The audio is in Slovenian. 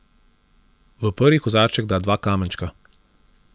V prvi kozarček da dva kamenčka.